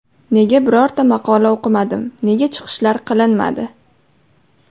Nega birorta maqola o‘qimadim, nega chiqishlar qilinmadi?